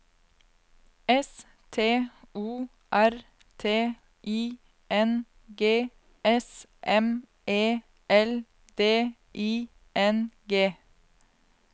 S T O R T I N G S M E L D I N G